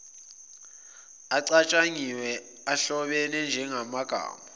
acatshangiwe ahlobene njengamagama